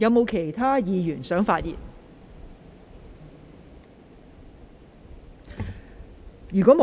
是否有其他議員想發言？